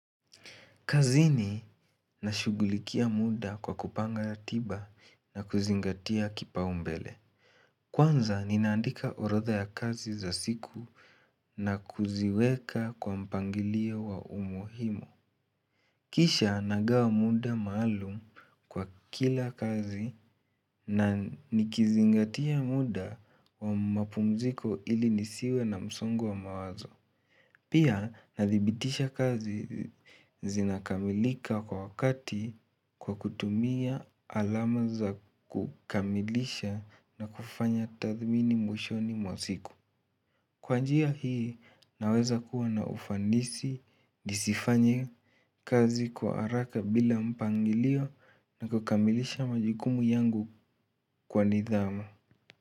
Kazini na shughulikia muda kwa kupanga ratiba na kuzingatia kipaumbele. Kwanza ninaandika oradha ya kazi za siku na kuziweka kwa mpangilio wa umuhimu. Kisha nagawa muda maalum kwa kila kazi na nikizingatia muda wa mapumziko ili nisiwe na msongo wa mawazo. Pia nadhibitisha kazi zinakamilika kwa wakati kwa kutumia alamu za kukamilisha na kufanya tathmini mwishoni mwa siku. Kwa njia hii naweza kuwa na ufanisi nisifanye kazi kwa haraka bila mpangilio na kukamilisha majukumu yangu kwa nidhamu.